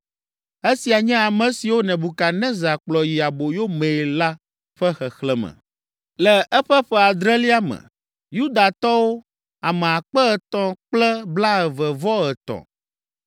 Esia nye ame siwo Nebukadnezar kplɔ yi aboyo mee la ƒe xexlẽme: Le eƒe ƒe adrelia me, Yudatɔwo, ame akpe etɔ̃ kple blaeve-vɔ-etɔ̃ (3,023);